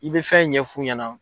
I bɛ fɛn ɲɛf'u ɲɛna.